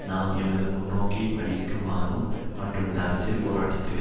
நாம் எமது முன்நோக்கை படிக்குமாறும் மற்றும் இந்த அரசியல் போராட்டத்துக்கு